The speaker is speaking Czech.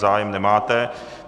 Zájem nemáte.